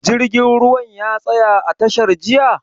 Jirgin ruwan ya tsaya a tashar jiya?